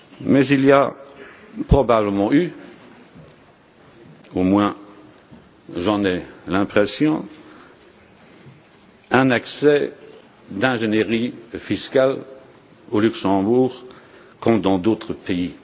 Mais il y a probablement eu, du moins j'en ai l'impression, un excès d'ingénierie fiscale au Luxembourg, comme dans d'autres pays.